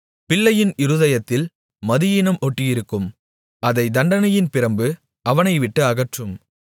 பிள்ளையின் இருதயத்தில் மதியீனம் ஒட்டியிருக்கும் அதைத் தண்டனையின் பிரம்பு அவனைவிட்டு அகற்றும்